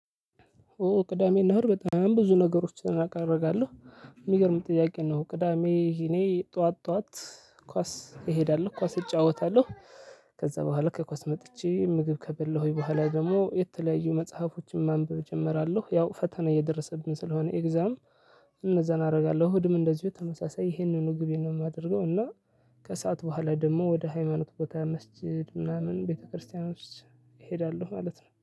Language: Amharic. ኦ ቅዳሜ እና እሁድ በጣም ብዙ ነገሮችን ራቅ አደርጋለሁ። የሚገርም ጥያቄ ነው ቅዳሜ እኔ ጠዋት ጠዋት ኳስ እሄዳለሁ። ኳስ እጫወታለሁ። ከዛ በኋላ ከኳስ መጥቼ ምግብ ከበላሁኝ በኋላ ደግሞ የተለያዩ መጽሐፎችን ማንበብ እጀምራለሁ። ያው ፈተና እየደረሰብን ስለሆነ ኤግዛም እነዛን አደርጋለሁ። እሁድም እንደዚሁ ተመሳሳይ ይሄንኑ ግቤ ነው የማደርገው እና- ከሰአት በኋላ ደግሞ ወደ ሃይማኖት ቦታ መስጊድ ምናምን ቤተክርስቲያኖች እሄዳለሁ ማለት ነው።